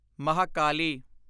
Mahakali